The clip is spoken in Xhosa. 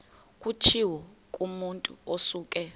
kutshiwo kumotu osuke